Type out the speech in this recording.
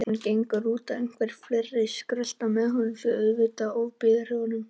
Hann gengur út og einhverjir fleiri skrölta með honum því auðvitað ofbýður öllum.